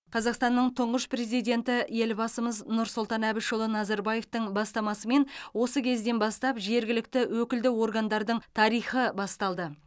қазақстанның тұңғыш президенті елбасымыз нұрсұлтан әбішұлы назарбаевтың бастамасымен осы кезден бастап жергілікті өкілді органдардың тарихы басталды